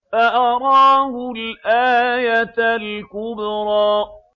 فَأَرَاهُ الْآيَةَ الْكُبْرَىٰ